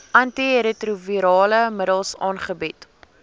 antiretrovirale middels aangebied